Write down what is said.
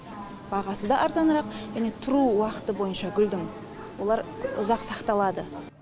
бағасы да арзанырақ және тұру уақыты бойынша гүлдің олар ұзақ сақталады